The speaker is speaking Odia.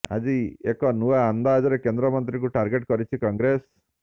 ଆଜି ଏକ ନୂଆ ଅନ୍ଦାଜରେ କେନ୍ଦ୍ରମନ୍ତ୍ରୀଙ୍କୁ ଟାର୍ଗେଟ କରିଛି କଂଗ୍ରେସ